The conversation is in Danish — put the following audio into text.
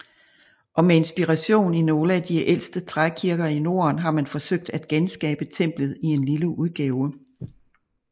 Og med inspiration i nogle af de ældste trækirker i norden har man forsøgt at genskabe templet i lille udgave